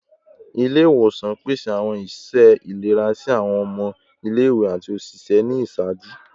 Ile-iwosan pese awọn iṣẹ ilera si awọn ọmọ ile-iwe ati oṣiṣẹ ni iṣaaju